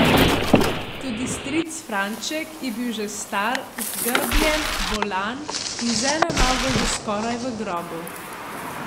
Tudi stric Franček je bil že star, zgrbljen, bolan in z eno nogo že skoraj v grobu.